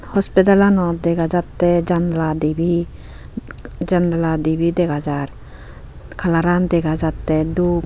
Hospitalanot dega jatte janala divey janala divey dega jaar kaalar aan dega jatte doob.